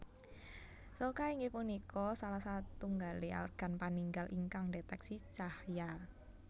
Soca inggih punika salah satunggaling organ paningal ingkang ndeteksi cahya